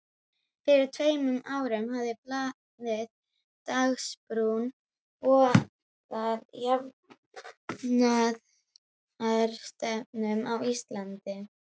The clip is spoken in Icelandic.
Fyrir tveimur árum hafði blaðið Dagsbrún boðað jafnaðarstefnu á Íslandi.